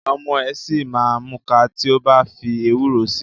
Ọmọ ẹ̀ ṣì ma múka tí o bá fi ewúro si.